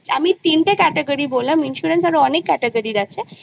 আমি তিনটে category ? বললাম insurance আরো অনেক category আছে